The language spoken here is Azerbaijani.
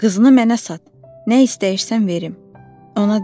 Qızını mənə sat, nə istəyirsən verim, ona dedi.